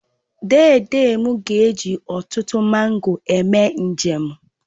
Dede m ga-eji ọtụtụ mango eme njem